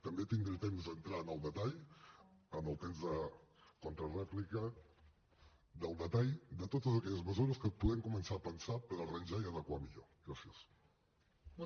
també tindré temps d’entrar en el detall en el temps de contrarèplica en el detall de totes aquelles mesures que podem començar a pensar per arranjar ho i adequar ho millor